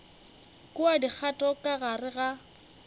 kwa dikgato ka gare ga